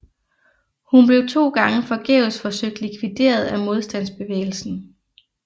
Hun blev to gange forgæves forsøgt likvideret af modstandsbevægelsen